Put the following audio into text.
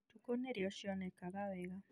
ũtukũ nĩrĩo cionaga wega